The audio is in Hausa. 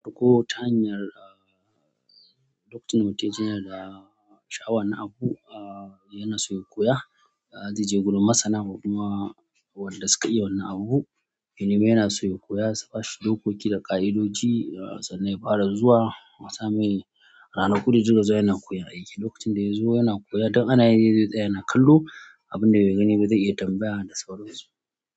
Ko ta hanyar, ah, doctor note yana da shawarar abu, ah, yana so ya koya. Ah, zai je gurin masana kuma wanda suka iya wannan abu. Menene yana so ya koya, saba shi dokoki da ƙa'idodi, ah, sa na yi fara zuwa. Asamai ranaku dazai dinga zuwa yana koyan aiki. Lokacin da ya zo yana koya don ana yi da ita yana kallo abin da ya gani ba zai iya tambaya da sauransu.